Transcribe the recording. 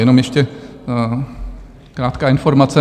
Jenom ještě krátká informace.